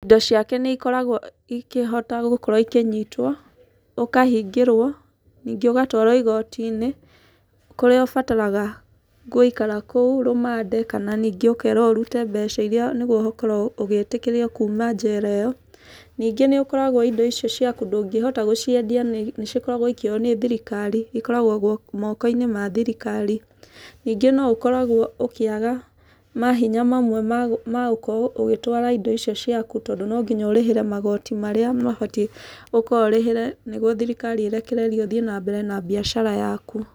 Indo ciake nĩ ikoragwo ikĩhota gũkorwo ikĩnyitwo. Ũkahingĩrwo, ningĩ ũgatwarũo igoti-inĩ, kũrĩa ũbataraga gũikara kũu rũmande, kana ningĩ ũkerwo ũrute mbeca irĩa nĩguo gũkorwo ũgĩtĩkĩrio kuuma njera ĩyo. Ningĩ nĩ ũkoragwo indo icio ciaku ndũngĩhota gũciendia nĩ cikoragwo ikĩoywo nĩ thirikari, Ikoragwo moko-inĩ ma thirikari. Ningĩ no ũkoragwo ũkĩaga mahinya mamwe ma gũkorwo ũgĩtwara indo icio ciaku, tondũ no nginya ũrĩhĩre magoti marĩa mabatiĩ gũkorwo ũrĩhĩre nĩguo thirikari ĩrekererie ũthiĩ na mbere na mbiacara yaku.